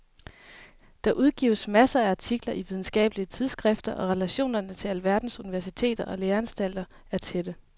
Der udgives masser af artikler i videnskabelige tidsskrifter og relationerne til alverdens universiteter og læreanstalter er tætte.